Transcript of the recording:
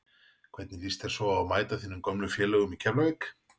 Hvernig lýst þér svo á að mæta þínum gömlu félögum í Keflavík?